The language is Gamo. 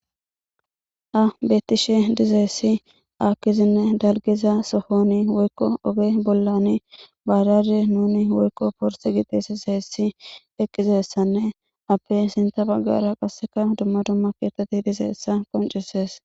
Ha betteeshe diza issi ahozanne dalgeza sohone woyko oge bollane baajajje nuuni woyko porse giddi tsesassan eqqiza issanne appe sintha baggara qassika dumma dumma keethati diza issa qoncciseesa.